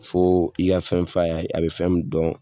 Fo i ka fɛn f'a ye a bɛ fɛn min dɔn